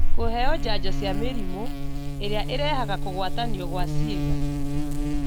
Kũheo njanjo cia mĩrimũ ĩrĩa ĩrehaga kũgwatanio gwa ciĩga